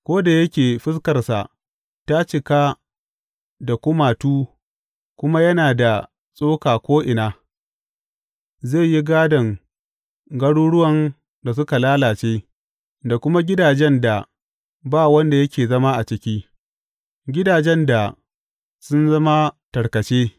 Ko da yake fuskarsa ta cika da kumatu kuma yana da tsoka ko’ina, zai yi gādon garuruwan da suka lalace, da kuma gidajen da ba wanda yake zama a ciki, gidajen da sun zama tarkace.